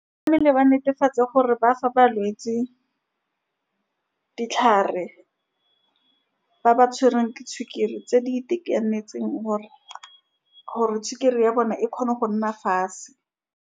Tlamehile ba netefatse gore ba fa balwetsi ditlhare, ba ba tshwereng ke sukiri, tse di itekanetseng, gore-gore sukiri ya bone e kgone go nna fatshe.